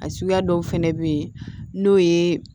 A suguya dɔw fɛnɛ bɛ yen n'o ye